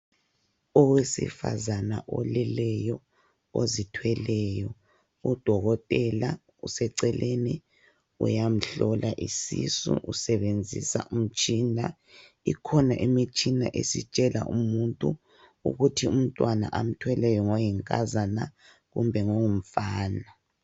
Owesifazana oleleyo ozithweleyo , udokotela useceleni uyamhlola isisu usebenzisa umtshina. Ikhona imitshina esitshela umuntu ukuthi umntwana amthweleyo ngoyinkazana kumbe ngongumfana.